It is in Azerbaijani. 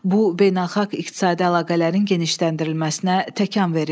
Bu, beynəlxalq iqtisadi əlaqələrin genişləndirilməsinə təkan verib.